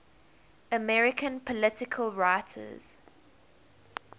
american political writers